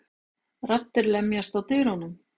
Raddir lemjast á dyrunum.